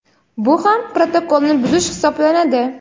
bu ham protokolni buzish hisoblanadi.